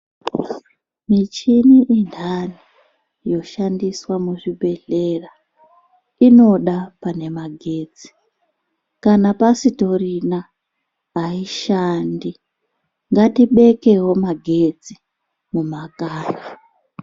Michini mintani yoshandiswa muzvibhedhlera inoda pane magetsi kana pasitorina aishandi ngatibekewo magetsi mumakanyi.